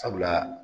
Sabula